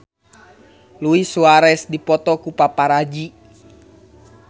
Luis Suarez dipoto ku paparazi